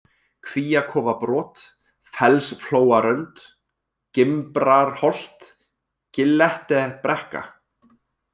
Kvíakofabrot, Fellsflóarönd, Gimbrarholt, Gillettebrekka